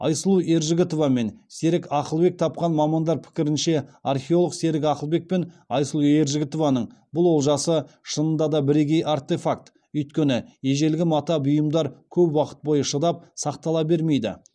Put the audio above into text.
айсұлу ержігітова мен серік ақылбек тапқан мамандар пікірінше археолог серік ақылбек пен айсұлу ержігітованың бұл олжасы шынында да біргей артефакт өйткені ежелгі мата бұйымдар көп уақыт бойы шыдап сақтала бермейді